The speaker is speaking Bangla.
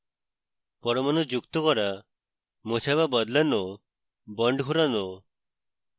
পরমাণু যুক্ত করা মোছা বা বদলানো bonds ঘোরানো